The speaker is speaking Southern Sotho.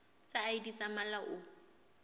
tsa id tsa mmala o